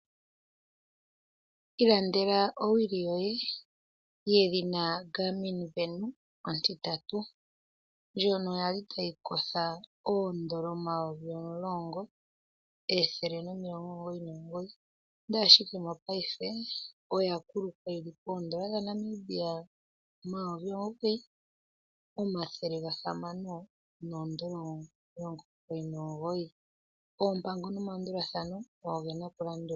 Ilandela owili yoye yedhina Garmin venu ontitatu, ndjono yali tayi kotha oondola omayovi omulongo, ethele nomilongo omugoyi nomugoyi, ndele ashike mopaife oya kuluka yi li poondola dha Namibia omayovi omugoyi, omathele gahamano noondola omilongo omugoyi nomugoyi, oompango nomalandulathano ogo ge na okulandulwa.